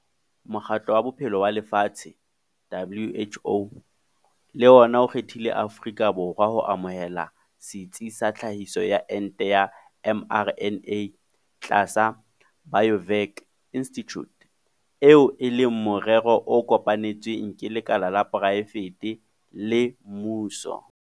Mokgatlo wa Bophelo wa Lefatshe, WHO, le ona o kgethile Afrika Borwa ho amohela setsi sa tlhahiso ya ente ya mRNA tlasa Biovac Institute, eo e leng morero o kopanetsweng ke lekala la poraefete le mmuso.